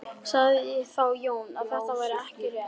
Sagði þá Jón að þetta væri ekki rétt.